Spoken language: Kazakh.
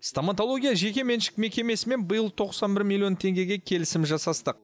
стоматология жекеменшік мекемесімен биыл тоқсан бір миллион теңгеге келісім жасастық